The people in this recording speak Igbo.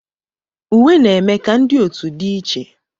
Uwe na-eme ka ndị otu dị iche.